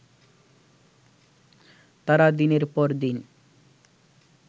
তারা দিনের পর দিন